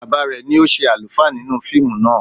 Bàbá rẹ̀ ni ó ṣe àlùfáà nínú fíìmù náà